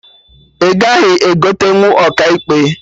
Ị gaghị egotenwu Ọkaikpe!